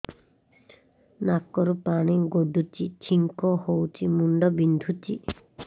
ନାକରୁ ପାଣି ଗଡୁଛି ଛିଙ୍କ ହଉଚି ମୁଣ୍ଡ ବିନ୍ଧୁଛି